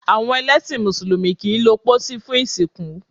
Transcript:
Awọn ẹlẹsin músùlùmí kii lo pósí fun ìsìnkú